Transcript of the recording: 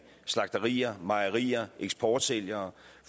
slagterier mejerier eksportsælgere